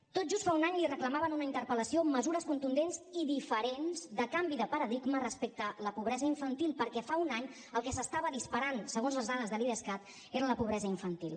tot just fa un any li reclamava en una interpel·lació mesures contundents i diferents de canvi de paradigma respecte a la pobresa infantil perquè fa un any el que s’estava disparant segons les dades de l’idescat era la pobresa infantil